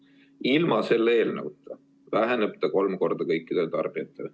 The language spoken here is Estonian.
Ilma selle eelnõuta väheneb ta kolm korda kõikidele tarbijatele.